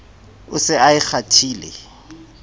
o se a e kgwathile